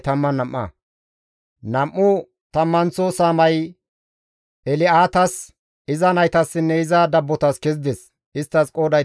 Nam7u tammanththo saamay El7aatas, iza naytassinne iza dabbotas kezides; isttas qooday 12.